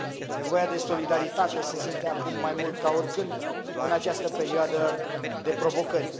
Nevoia de solidaritate se simte acum mai mult ca oricând, în această perioadă de provocări.